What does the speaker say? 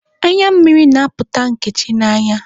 Anya mmiri na-apụta Nkechi n'anya.